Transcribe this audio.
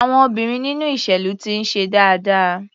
Àwọn obìnrin nínú ìṣèlú ti ń ṣe dáadáa.